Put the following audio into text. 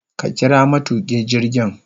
Ka kira matukin jirgin